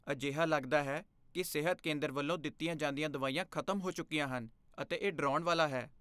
ਅਜਿਹਾ ਲੱਗਦਾ ਹੈ ਕਿ ਸਿਹਤ ਕੇਂਦਰ ਵੱਲੋਂ ਦਿੱਤੀਆਂ ਜਾਂਦੀਆਂ ਦਵਾਈਆਂ ਖ਼ਤਮ ਹੋ ਚੁੱਕੀਆਂ ਹਨ ਅਤੇ ਇਹ ਡਰਾਉਣ ਵਾਲਾ ਹੈ।